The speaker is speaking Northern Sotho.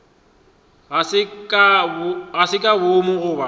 ga se ka boomo goba